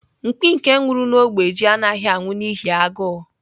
Mkpi nke nwuru n'ogbe ji anaghị anwụ n'ihi agụụ.